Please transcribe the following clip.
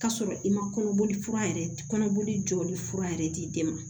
K'a sɔrɔ i ma kɔnɔboli fura yɛrɛ kɔnɔboli jɔli fura yɛrɛ d'i den ma